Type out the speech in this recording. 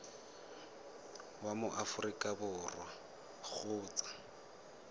wa mo aforika borwa kgotsa